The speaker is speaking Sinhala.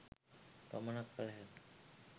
පමණක් කල හැක